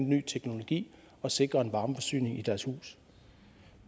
ny teknologi og sikre en varmeforsyning i deres hus